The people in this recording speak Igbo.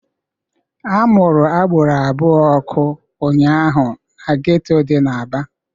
A mụrụ agboro abụọ ọkụ ụnyaahụ n'geto dị n'Aba